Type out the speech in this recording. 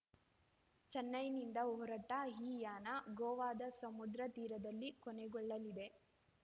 ಚೆನ್ನೈನಿಂದ ಹೊರಟ ಈ ಯಾನ ಗೋವಾದ ಸಮುದ್ರ ತೀರದಲ್ಲಿ ಕೊನೆಗೊಳ್ಳಲಿದೆ